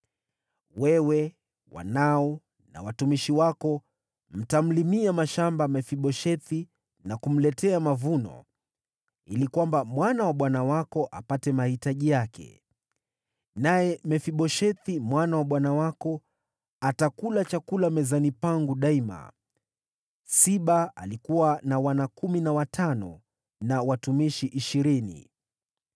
Wewe, wanao na watumishi wako mtamlimia mashamba Mefiboshethi na kumletea mavuno, ili kwamba mwana wa bwana wako apate mahitaji yake. Naye Mefiboshethi mwana wa bwana wako atakula chakula mezani pangu daima.” (Siba alikuwa na wana kumi na watano, na watumishi ishirini.)